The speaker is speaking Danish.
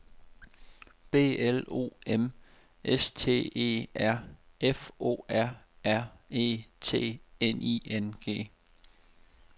B L O M S T E R F O R R E T N I N G